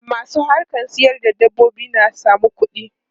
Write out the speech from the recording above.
Masu harkan sayar da dabbobi na samun kuɗi.